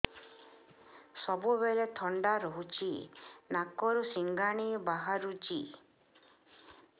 ସବୁବେଳେ ଥଣ୍ଡା ରହୁଛି ନାକରୁ ସିଙ୍ଗାଣି ବାହାରୁଚି